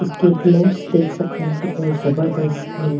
इसके ब्लॉकस देख सकते है कितने जबरदस्त है।